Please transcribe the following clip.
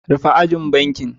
Rufe ajian bankin.